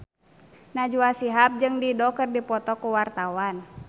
Najwa Shihab jeung Dido keur dipoto ku wartawan